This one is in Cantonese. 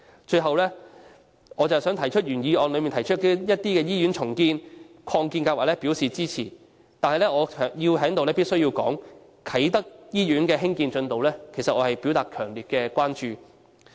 最後，我想就原議案提及的一些醫院重建和擴建計劃表示支持，但我必須在此對啟德醫院的興建進度表達強烈關注。